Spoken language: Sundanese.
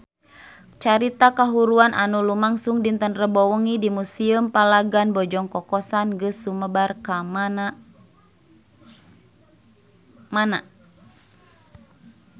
Carita kahuruan anu lumangsung dinten Rebo wengi di Museum Palagan Bojong Kokosan geus sumebar kamana-mana